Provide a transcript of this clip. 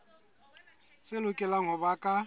tse lokelang ho ba ka